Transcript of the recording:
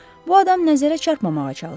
Bu adam nəzərə çarpmamağa çalışıb.